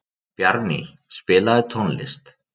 Bjarný, spilaðu tónlist.